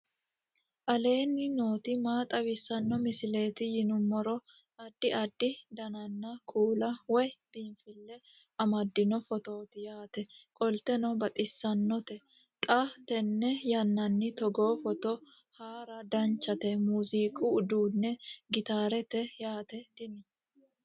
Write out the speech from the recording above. aleenni nooti maa xawisanno misileeti yinummoro addi addi dananna kuula woy biinfille amaddino footooti yaate qoltenno baxissannote xa tenne yannanni togoo footo haara danchate muziiqu uduunni gitaarete yaate tini